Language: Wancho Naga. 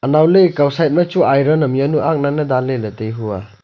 anow ley ekow side ma chu iron am ya nu agna ne danley taihua.